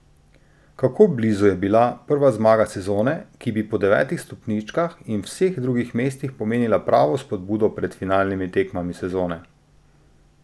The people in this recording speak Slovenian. Kako blizu je bila prva zmaga sezone, ki bi po devetih stopničkah in vseh drugih mestih pomenila pravo spodbudo pred finalnimi tekmami sezone!